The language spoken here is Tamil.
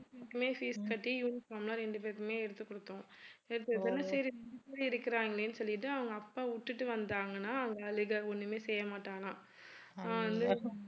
ரெண்டு பேருக்குமே fees கட்டி uniform லாம் ரெண்டு பேருக்குமே எடுத்துக் குடுத்தோம் இருக்கறாங்களே சொல்லிட்டு அவங்க அப்பா விட்டுட்டு வந்தாங்கனா ஒண்ணுமே செய்யமாட்டானா அவன் வந்து